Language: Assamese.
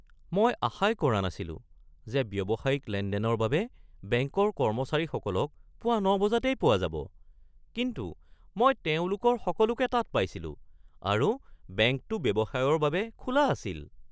মই আশাই কৰা নাছিলোঁ যে ব্যৱসায়িক লেনদেনৰ বাবে বেংকৰ কৰ্মচাৰীসকলক পুৱা ৯ বজাতেই পোৱা যাব, কিন্তু মই তেওঁলোকৰ সকলোকে তাত পাইছিলোঁ আৰু বেংকটো ব্যৱসায়ৰ বাবে খোলা আছিল